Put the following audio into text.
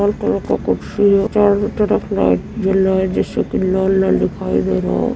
लाल colour का कुर्सी है। चारों तरफ लाइट जल रहा है जिससे कि लाल-लाल दिखाई दे रहा है।